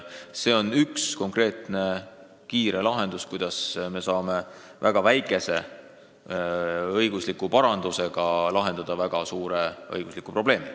See on üks konkreetne ja kiire lahendus, kuidas me saame väga väikese õigusliku parandusega lahendada väga suure õigusliku probleemi.